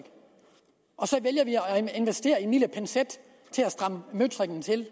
investere i en lille pincet til at stramme møtrikken til